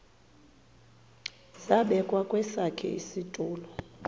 zabekwa kwesakhe isitulo